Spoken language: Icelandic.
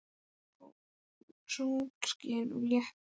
Það var sólskin og létt hafgola.